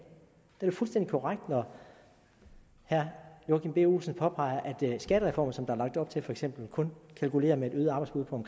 det er fuldstændig korrekt når herre joachim b olsen påpeger at skattereformen som der er lagt op til for eksempel kun kalkulerer med et øget arbejdsudbud